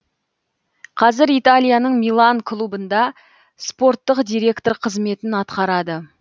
қазір италияның милан клубында спорттық директор қызметін атқарады